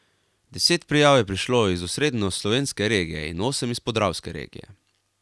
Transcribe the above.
Deset prijav je prišlo iz osrednjeslovenske regije in osem iz podravske regije.